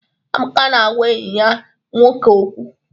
Amaka na-agwa enyi ya nwoke okwu.